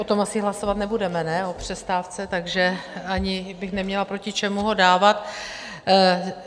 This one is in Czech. O tom asi hlasovat nebudeme, ne, o přestávce, takže ani bych neměla proti čemu ho dávat.